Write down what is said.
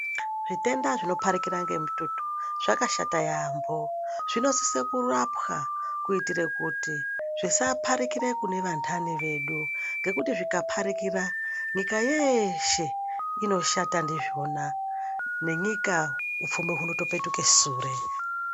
Zvitenda zvinoparikira ngemututu zvakashata yaambo. Zvinosise kurapwa kuitire kuti zvisaparikire kune vandtani vedu ngekuti zvikaparikira nyika yeshe inoshata ndizvona, nenyika upfumi hwuno topetuke sure.